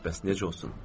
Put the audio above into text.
Bəs necə olsun?